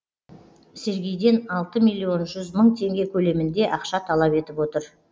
сергейден алты миллион жүз мың теңге көлемінде ақша талап етіп отыр